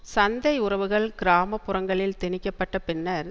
சந்தை உறவுகள் கிராம புறங்களில் திணிக்க பட்ட பின்னர்